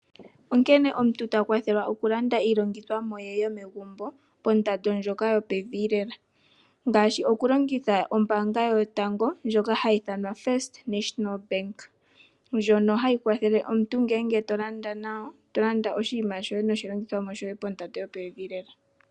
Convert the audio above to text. Onkene omuntu ta kwathelwa okulanda iilandomwa ye yo megumbo kondando ndjoka yo pevi lela. Ngaashi okulingitha ombaanga yoye yotango ndjoka hayi ithwana ombaanga yotango. Ndjono hayi kwathle omuntu ngele tolanda nayo oshiima shoye noshilandithwami shoye pondando yo pevi lela .